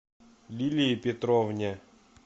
лилии петровне